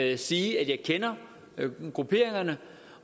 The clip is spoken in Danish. ikke sige at jeg kender grupperingerne